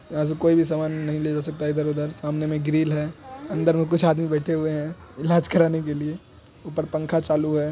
यहाँ से कोई भी सामन नही ले जा सकता हैं इधर उधर सामने मे ग्रिल हैं अंदर मे कुछ आदमी बैठे हुए हैं इलाज कराने के लिए ऊपर पंखा चालु हैं।